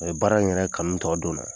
A ye baara in yɛrɛ kanu tɔ don n na.